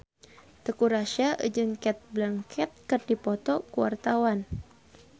Teuku Rassya jeung Cate Blanchett keur dipoto ku wartawan